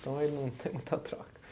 Então aí não tem muita troca.